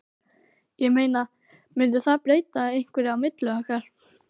Ég meina. mundi það breyta einhverju á milli okkar.